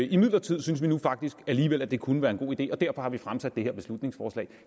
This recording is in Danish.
imidlertid synes vi nu faktisk alligevel at det kunne være en god idé og derfor har vi fremsat det her beslutningsforslag